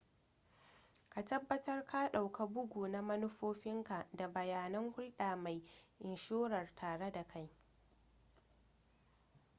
ka tabbatar ka ɗauka bugu na manufofinka da bayanan hulɗar mai inshorar tare da kai